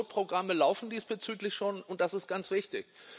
Pilotprogramme laufen diesbezüglich schon, und das ist ganz wichtig.